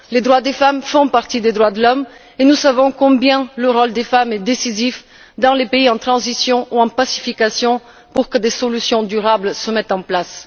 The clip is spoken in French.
Les droits des femmes font partie des droits de l'homme et nous savons combien le rôle des femmes est décisif dans les pays en transition ou en pacification, pour que des solutions durables se mettent en place.